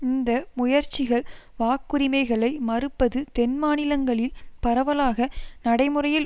இந்த முயற்சிகள் வாக்குரிமைகளை மறுப்பது தென்மாநிலங்களில் பரவலாக நடைமுறையில்